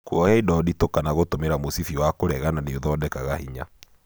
Kuoya indo nditũ kana gũtũmĩra mũcibi wa kũregana nĩ ũthondekaga hinya